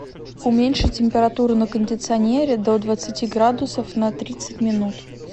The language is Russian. уменьши температуру на кондиционере до двадцати градусов на тридцать минут